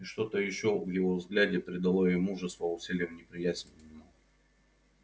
и что-то ещё в его взгляде придало ей мужества усилив неприязнь к нему